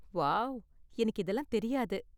Wow, எனக்கு இதெல்லாம் தெரியாது.